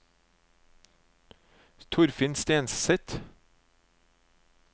Torfinn Stenseth